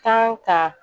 Kan ka